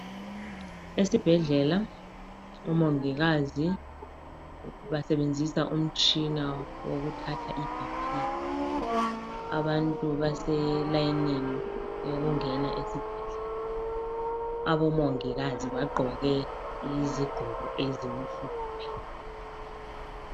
Esibhedlela omongikazi basebenzisa umtshina wokuthatha iBP ,abantu baselayinini yokungena esibhedlela. Abomongikazi bagqoke izigqoko ezimhlophe.